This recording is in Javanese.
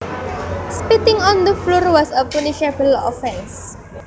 Spitting on the floor was a punishable offence